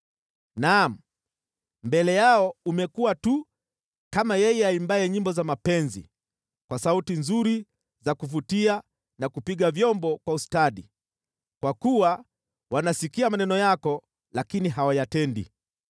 Naam, mbele yao umekuwa tu kama yeye aimbaye nyimbo za mapenzi kwa sauti nzuri za kuvutia na kupiga vyombo kwa ustadi, kwa kuwa wanasikia maneno yako lakini hawayatendi.